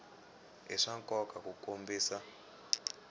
i swa nkoka ku kombisa